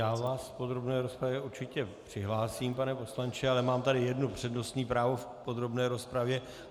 Já vás do podrobné rozpravy určitě přihlásím, pane poslanče, ale mám tady jedno přednostní právo v podrobné rozpravě.